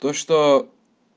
то что